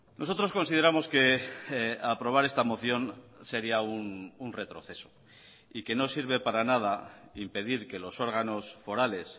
nosotros consideramos que aprobar esta moción sería un retroceso y que no sirve para nada impedir que los órganos forales